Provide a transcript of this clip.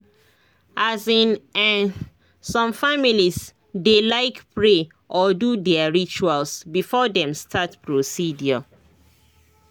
as in[um]some families dey like pray or do their rituals before dem start procedure